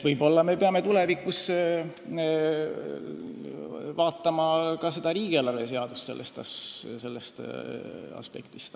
Võib-olla me peame tulevikus vaatama ka riigieelarve seadust sellest aspektist.